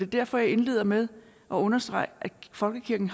derfor jeg indledte med at understrege at folkekirken